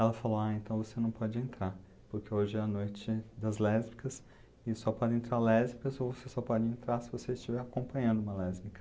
Ela falou, ah, então você não pode entrar, porque hoje é a noite das lésbicas e só podem entrar lésbicas ou você só pode entrar se você estiver acompanhando uma lésbica.